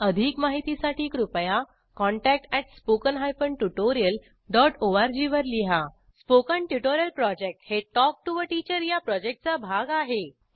अधिक माहितीसाठी कृपया contact at spoken hyphen tutorial dot ORG वर लिहा स्पोकन ट्युटोरियल प्रॉजेक्ट हे टॉक टू टीचर या प्रॉजेक्टचा भाग आहे